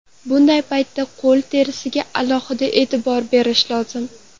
Bunday paytda qo‘l terisiga alohida e’tibor berish lozim.